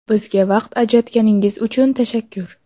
Bizga vaqt ajratganingiz uchun tashakkur.